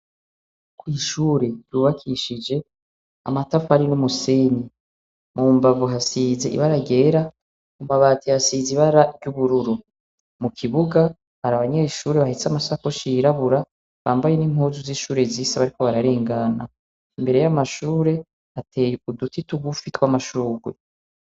Kw'ishure ryubakishije amatafari n'umusenyi, mu mbavu hasize ibara ryera, ku mabati hasize ibara ry'ubururu, mu kibuga hari abanyeshure bahetse ama sakoshi yirabura bambaye n'impuzu z'ishure zisa bariko bararengana, imbere y'amashure hateye uduti tugufi tw'amashurwe.